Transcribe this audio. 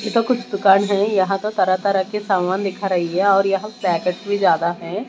कुछ दुकान हैं यहां तो तरह तरह के सामान दिखा रही है और यहां पैकेट भी ज्यादा हैं।